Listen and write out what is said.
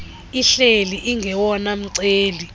ihleli ingowona mceli